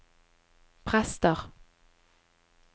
prester